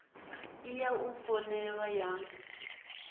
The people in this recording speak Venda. ḓi ya u foinela ha